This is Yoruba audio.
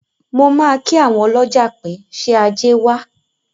Mo máa kí àwọn ọlọ́jà pé, “ṣé ajé wá?”